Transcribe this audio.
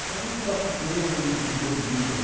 Então, o que eu posso dizer em termos disso aí?